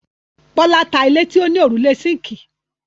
Bọ́lá ta ilé tí ó ní òrùlé síńkì.